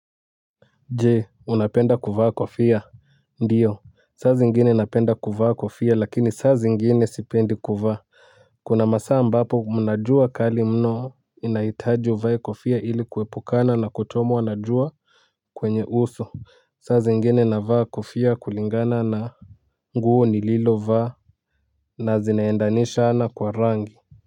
Jee unapenda kuvaa kofia. Ndiyo saa zingine napenda kuvaa kofia lakini saa zingine sipendi kuvaa. Kuna masa ambapo mnajua kali mno inaitaji uvaye kofia ili kuwepukana na kuchomwa najua. Kwenye uso saa zingine navaa kofia kulingana na nguo ni lilo vaa na zinaendanishana kwa rangi.